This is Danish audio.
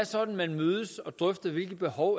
sådan at man mødes og drøfter hvilke behov